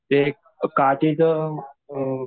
एक काठीचं अ